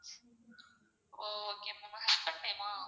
ஒ okay ma'am husband name ஆ?